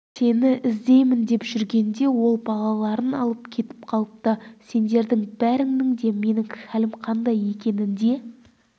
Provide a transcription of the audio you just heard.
сені іздеймін деп жүргенде ол балаларын алып кетіп қалыпты сендердің бәріңнің де менің хәлім қандай екенінде